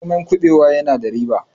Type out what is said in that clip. noman kubewa yana da riba